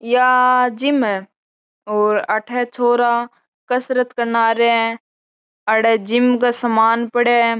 या जिम है अठे छोरा कसरत करे है अठे जिम को सामान पड़ो है।